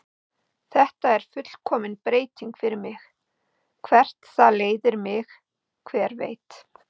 Þetta er fullkomin breyting fyrir mig, hvert það leiðir mig, hver veit?